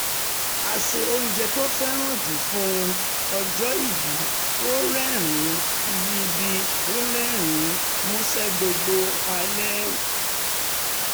a ṣe oúnjẹ tó fẹ́ràn jù fún un ọjọ́ ìbí ó rẹ́rìn-ín ìbí ó rẹ́rìn-ín músẹ́ gbogbo alẹ́